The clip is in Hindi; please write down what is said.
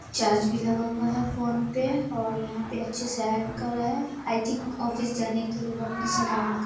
चार्ज भी लगा हुआ है फोन पे और यहाँ पे अच्छे से आयरन कर रहा है आई थिंक ऑफिस जाने के लिए वह अपना शर्ट आयरन कर रहा --